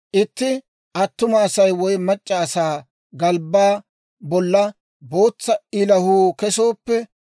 «Itti attuma asaa woy mac'c'a asaa galbbaa bolla bootsa ilahuu kesooppe,